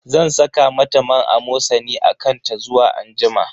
Zan saka mata man Amosani a kan ta zuwa anjima.